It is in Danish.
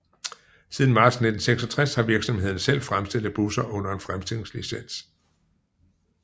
Siden marts 1996 har virksomheden selv fremstillet busser under en fremstillingslicens